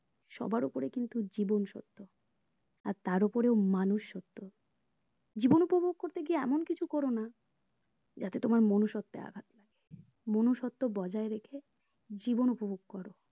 সবার ওপরে কিন্তু জীবন সত্য আর তার ওপরে মানুষ সত্য জীবন উপভোগ করতে গিয়ে এমন কিছু করো না যাতে তোমার মনুষত্বে আঘাত পাই মানুষত্ব বজায় রেখে জীবন উপভোগ করো